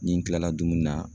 Ni n kilala dumuni na